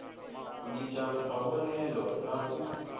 ku cinca mavonelo na ku